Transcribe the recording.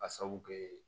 Ka sabu kɛ